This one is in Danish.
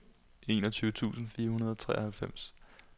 enogtyve tusind fire hundrede og treoghalvfems